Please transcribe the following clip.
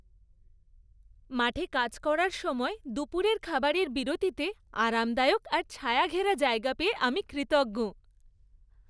মাঠে কাজ করার সময় দুপুরের খাবারের বিরতিতে আরামদায়ক আর ছায়াঘেরা জায়গা পেয়ে আমি কৃতজ্ঞ।